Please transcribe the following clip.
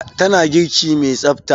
Tana girki mai tsafta.